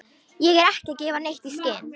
Ég er ekki að gefa neitt í skyn.